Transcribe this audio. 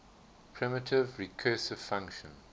primitive recursive function